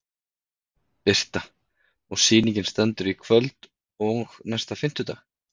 Birta: Og sýningin stendur í kvöld og næsta fimmtudag?